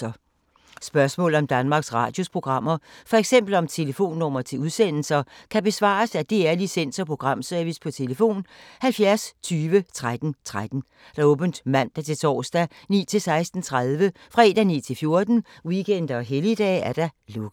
Spørgsmål om Danmarks Radios programmer, f.eks. om telefonnumre til udsendelser, kan besvares af DR Licens- og Programservice: tlf. 70 20 13 13, åbent mandag-torsdag 9.00-16.30, fredag 9.00-14.00, weekender og helligdage: lukket.